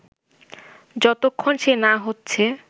যতক্ষণ সে না হচ্ছে